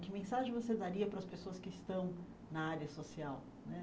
Que mensagem você daria para as pessoas que estão na área social né?